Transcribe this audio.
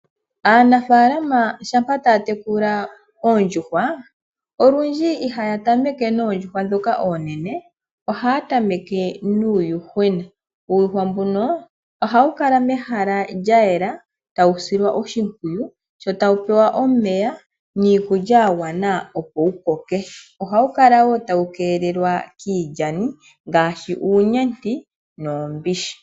Aanafaalama shampa taya tekula oondjuhwa olundji ihaya tameke noondjuhwa ndhoka oonene ohaya tameke nuuyuhwena . Uuyuhwa mbuno ohawu kala mehala lya yela tawu silwa oshimpwiyu sho tawu pewa omeya niikulya yagwana opo wukoke . Ohawu kala woo tawu keelelwa kiilyani ngaashi uunyenti noombishi.